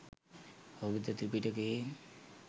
ඔබද ත්‍රිපිටකයේ